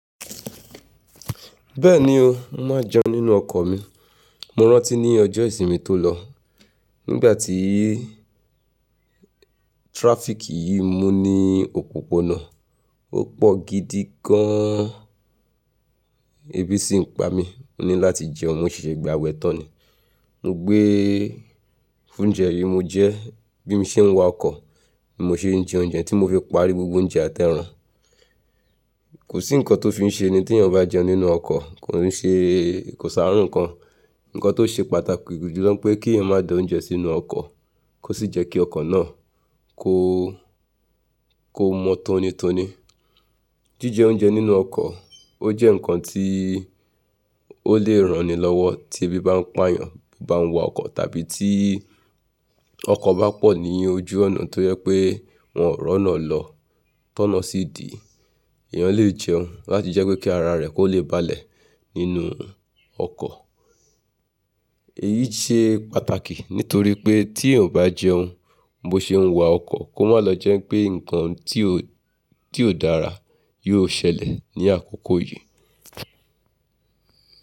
Bẹ́ẹ̀ni o, mo máa jẹun nínú ọkọ̀ mi. Mo rántí ní ọjọ́ ìsinmi tó lọ, nígbà tí traffic yìí mú ní òpópónà, ó pọ̀ gidi gan-an. Ebí sì ń pa mí ní láti jẹun, mo ṣèṣè gba wẹ̀ tán ni. Mo gbé ounjẹ yìí mo jẹ, bí mo ṣe ń wa ọkọ̀, mo ṣe ń jẹ oúnjẹ tí mo fi parí gbogbo oúnjẹ àtẹran. Kò sí ǹkan tó fi ṣe ẹni tí èèyàn bá jẹun nínú ọkọ̀, kò n ṣe kò sárùn kan. Ǹkan tó ṣe pàtàkì gidi jùlọ pé kí ẹ má dá oúnjẹ sínú ọkọ̀, kó sì jẹ́ kí ọkọ̀ náà kó, kó mọ tónítóní. Jíjẹ oúnjẹ nínú ọkọ̀, ó jẹ́ ǹkan tí ó lè ranni lọ́wọ́ tí ebi bá ń pa èèyàn bá ń wa ọkọ̀ tàbí tí ọkọ̀ bá pọ̀ ní ojú ọnà tó jẹ pé wọ́n ó ráná lọ tọná sí ìdí. Èèyàn lè jẹun láti jẹ́ pé kí ara rẹ̀ kó lè balẹ̀ nínú ọkọ̀. Èyí ṣe pàtàkì nítorí pé tí èèyàn o bá jẹun bó ṣe ń wa ọkọ̀ kó má lọ jẹ́ pé ǹkan tí ò, tí ò dára yóò ṣẹlẹ̀ ní àkókò yìí.